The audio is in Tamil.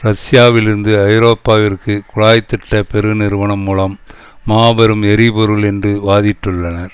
ரஷ்யாவில் இருந்து ஐரோப்பாவிற்கு குழாய்த்திட்ட பெருநிறுவனம் மூலம் மாபெரும் எரிபொருள் என்று வைத்திட்டுள்ளனர்